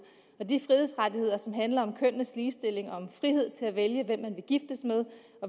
og de frihedsrettigheder som handler om kønnenes ligestilling og om frihed til at vælge